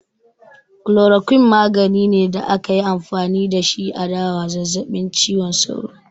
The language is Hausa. Chloroquine magani ne da akayi amfani da shi a da wa zazzabin cizon sauro